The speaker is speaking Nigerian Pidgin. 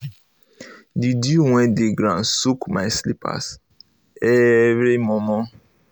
the dew wey dey ground soak my slippers every momo slippers every momo